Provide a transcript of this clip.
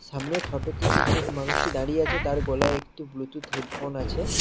সামনের ফটো -টিতে যে মানুষটি দাঁড়িয়ে আছে তার গলায় একটি ব্লুটুথ হেডফোন আছে।